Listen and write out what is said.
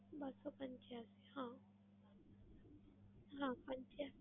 બસ્સો પંચયાસી હા. હા પંચયાસી.